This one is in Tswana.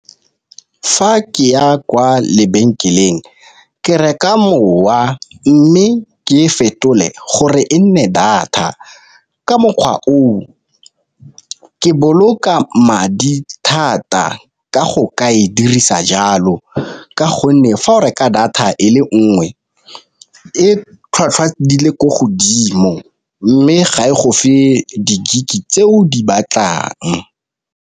Fa ke ya kwa lebenkeleng ke reka mowa mme ke e fetole gore e nne data, ka mokgwa o ke boloka madi thata ka go kae dirisa jalo, ka gonne fa o reka data e le nngwe e tlhwatlhwa di le ko godimo mme ga e go fa di-gig tse o di batlang.